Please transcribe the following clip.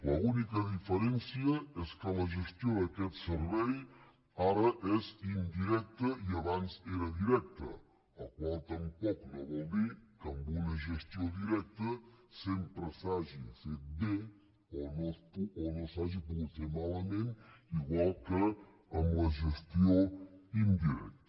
l’única diferència és que la gestió d’aquest servei ara és indirecta i abans era directa la qual cosa tampoc no vol dir que amb una gestió directa sempre s’hagi fet bé o no s’hagi pogut fer malament igual que amb la gestió indirecta